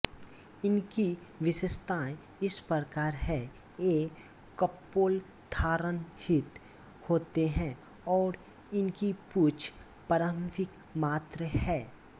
इनकी विशेषताएँ इस प्रकार हैं ये कपोलधानरहित होते हैं और इनकी पूँछ प्रारंभिक मात्र है